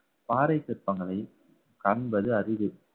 பாறை சிற்பங்களை காண்பது அரிது